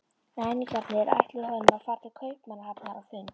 Ræningjarnir ætluðu honum að fara til Kaupmannahafnar á fund